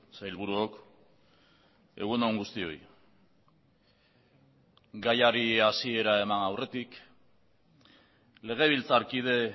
sailburuok egun on guztioi gaiari hasiera eman aurretik legebiltzarkide